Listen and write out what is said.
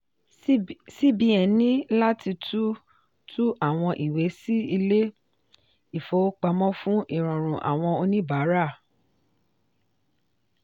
cbn ní láti tú tú àwọn ìwé sí ilé-ìfowópamọ́ fún ìrọrùn àwọn oníbàárà.